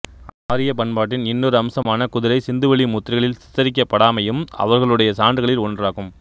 ஆரியப் பண்பாட்டின் இன்னொரு அம்சமான குதிரை சிந்துவெளி முத்திரைகளிற் சித்தரிக்கப்படாமையும் அவர்களுடைய சான்றுகளில் ஒன்றாகும்